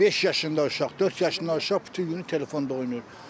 Beş yaşında uşaq, dörd yaşında uşaq bütün günü telefonda oynayır.